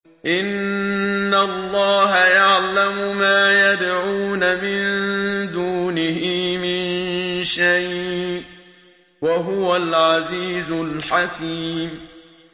إِنَّ اللَّهَ يَعْلَمُ مَا يَدْعُونَ مِن دُونِهِ مِن شَيْءٍ ۚ وَهُوَ الْعَزِيزُ الْحَكِيمُ